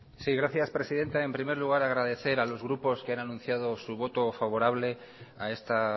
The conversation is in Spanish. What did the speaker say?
sí gracias presidenta en primer lugar agradecer a los grupos que han anunciado su voto favorable a esta